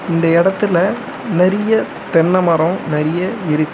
இந்த எடத்துல நெறிய தென்ன மரோ நெறிய இருக்கு.